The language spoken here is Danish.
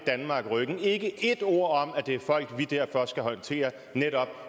danmark ryggen ikke ét ord om at det er folk vi derfor skal håndtere